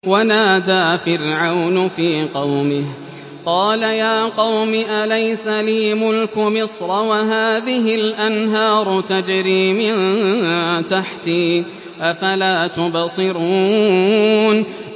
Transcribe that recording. وَنَادَىٰ فِرْعَوْنُ فِي قَوْمِهِ قَالَ يَا قَوْمِ أَلَيْسَ لِي مُلْكُ مِصْرَ وَهَٰذِهِ الْأَنْهَارُ تَجْرِي مِن تَحْتِي ۖ أَفَلَا تُبْصِرُونَ